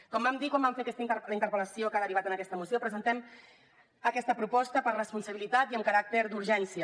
com vam dir quan vam fer la interpel·lació que ha derivat en aquesta moció presentem aquesta proposta per responsabilitat i amb caràcter d’urgència